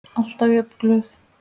Alltaf jafn glöð.